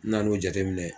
N nan'o jateminɛ